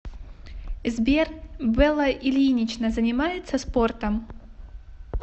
сбер белла ильинична занимается спортом